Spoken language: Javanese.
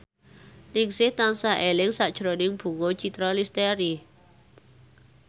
Ningsih tansah eling sakjroning Bunga Citra Lestari